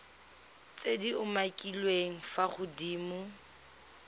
tse di umakiliweng fa godimo